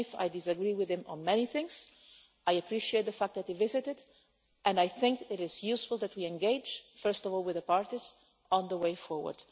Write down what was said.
Even if I disagree with him on many things, I appreciate the fact that he visited and I think it is useful that we engage first of all with the parties on the way forward.